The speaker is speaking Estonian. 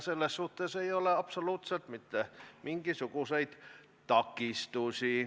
Selles suhtes ei ole absoluutselt mitte mingisuguseid takistusi.